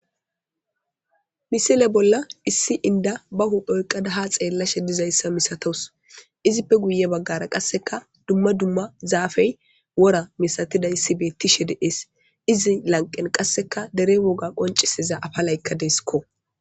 Misile bolla issi inda bahu phoyqada ha xeellashe dizayssa misatos izippe guye baggara qasseka dumma dumma zaafey wora misatiday issibettishe deees izi lanqen qasseka dere woga qoncisiza afa laykka deesikko.